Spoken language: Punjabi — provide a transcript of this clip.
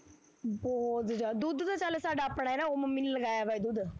ਬਹੁਤ ਜਿਆਦਾ, ਦੁੱਧ ਤਾਂ ਚੱਲ ਸਾਡਾ ਆਪਣਾ ਐ ਨਾ ਉਹ ਮੰਮੀ ਨੇ ਲਗਾਇਆ ਵਾਂ ਐ ਦੁੱਧ,